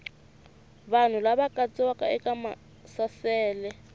vanhu lava katsiwaka eka maasesele